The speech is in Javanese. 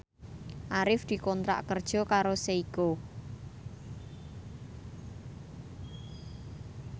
Arif dikontrak kerja karo Seiko